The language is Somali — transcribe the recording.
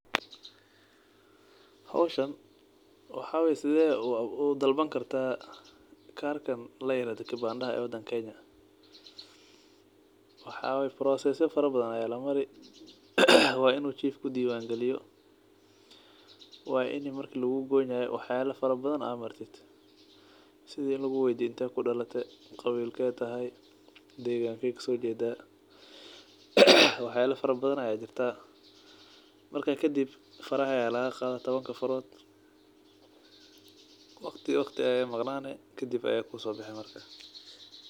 Hoshan waxa weye sithe udalban kartaa karkan layirahdo kibandadha wadanka kenya waxaa weye processes ya fara badan aya lamari ee waa in u chief kudiwan galiyo waini marki lagu goynayo waxyala fara badan aa martid sitha intee kudalate qawilke tahay deganke kasojeda waxyala fara badan aya jirta marka kadib faraxa aya laga qadha tawanka farod waqti ayey maqnani kadib ayey kusobixi.